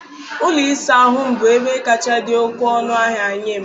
Ụlọ ịsa ahụ m bụ ebe m kacha dị oké ọnụ ahịa nye m.